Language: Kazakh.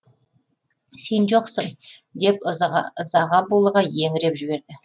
сен жоқсың деп ызаға булыға еңіреп жіберді